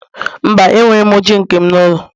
Mba, enwere m oche nke m n'ụlọ